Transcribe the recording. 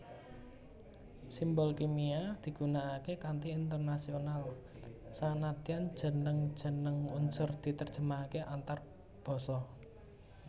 Simbol kimia digunakaké kanthi internasional sanadyan jeneng jeneng unsur diterjemahaké antarbasa